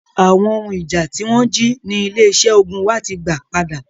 Awon ohun ija ti won ji ni ile ise ogun wa ti gba pada.